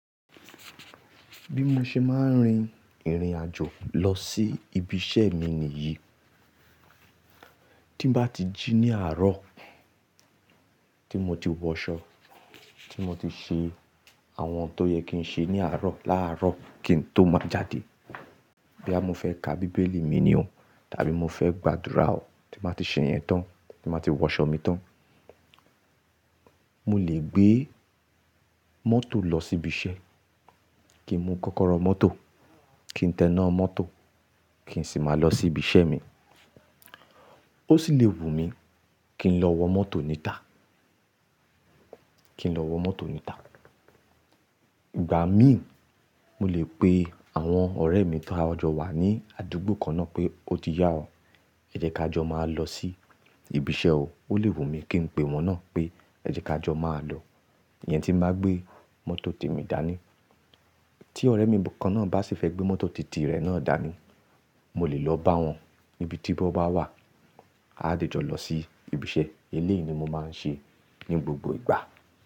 Bí mo ṣe máa ń rin ìrìn àjò lọ sí ibi iṣẹ́ mi nìyí. Tí n bá ti jí ní àárọ̀, tí mo ti wọṣọ, tí mo ti ṣe àwọn tó yẹ kí n ṣe ní àárọ̀, láàárọ̀ kí n tó máa jáde. Boya mo fẹ́ ka Bíbélì mi ni o, tàbí mo fẹ́ gbàdúrà o, tí n ba ti ṣe yẹn tán, tí n bá ti wọṣọ mi tán. Mo lè gbé mọ́tò lọ sí ibi iṣẹ́, kí n mu kọ́kọ́rọ́ mọ́tò, kí n tẹná mọ́tò, kí n sì máa lọ sí ibi iṣẹ́ mi. Ó sì lè wù mí kí n lọ wọ mọ́tò níta, kí n lọ wọ mọ́tò níta. Ìgbà míì, mo lè pe àwọn ọ̀rẹ́ mi taa jọ́ wà ní àdúgbò kan náà pé ó ti yá o, ẹ jẹ́ ká jọ máa lọ sí ibi iṣẹ́ o. Ó lè wù mí kí n pe wọn náà pé ẹ jẹ́ ká jọ máa lọ. Iyẹn tí n bá gbé mọ́tò tèmi dání. Tí ọ̀rẹ́ mi kan náà bá sì fẹ́ gbé mọ́tò titi rẹ̀ náà dání, mo lè lọ bá wọn níbi tí wọn bá wà, a dẹ́ jọ lọ sí ibi iṣẹ́. Eléyìí ni mo máa ń ṣe ní gbogbo ìgbà.